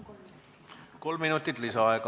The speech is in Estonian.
Saate kolm minutit lisaaega.